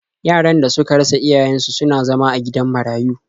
Yaran da suka rasa iyayen su suna zama a gidan marayu.